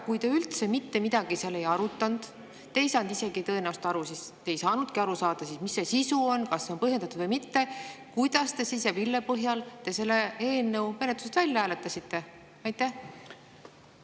Kui te üldse mitte midagi seal ei arutanud, te ei saanud isegi tõenäoliselt aru – te ei saanudki aru saada –, mis see sisu on, kas see on põhjendatud või mitte, siis kuidas või mille põhjal te selle eelnõu menetlusest välja hääletasite?